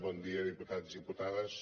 bon dia diputats i diputades